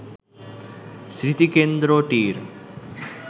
স্মৃতিকেন্দ্রটির